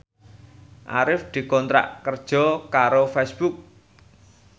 Arif dikontrak kerja karo Facebook